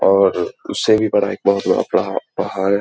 और अ उस से भी बड़ा एक बहुत बड़ा पहा-पहाड़।